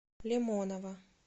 лимонова